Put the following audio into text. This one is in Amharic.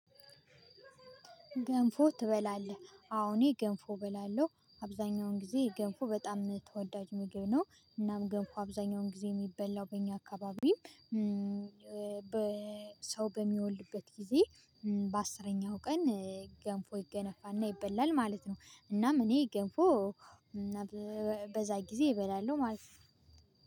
ገንፎ ትበላለህ? አዎ እኔ ገንፎ እበላለሁ አብዛኛውን ጊዜ ገንፎ በጣም ተወዳጅ ምግብ ነው። እናም ገንፎ አብዛኛውን ጊዜ የሚበላው በእኛ አካባቢም በሰው በሚወልድበት ጊዜ በአስረኛው ቀን ገንፎ ይገነፋና ይበላል ማለት ነው። እናም እኔ ገንፎ በዛ ጊዜ እበላለሁ ማለት ነው